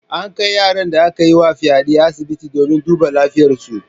An kai yaran da aka yi wa fyaɗe asibiti domin a duba lafiyarsu.